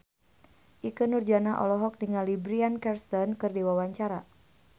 Ikke Nurjanah olohok ningali Bryan Cranston keur diwawancara